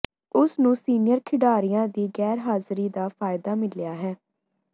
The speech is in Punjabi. ਉਸ ਨੂੰ ਸੀਨੀਅਰ ਖਿਡਾਰੀਆਂ ਦੀ ਗੈਰਹਾਜ਼ਰੀ ਦਾ ਫਾਇਦਾ ਮਿਲਿਆ ਹੈ